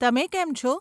તમે કેમ છો.